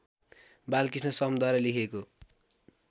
बालकृष्ण समद्वारा लेखिएको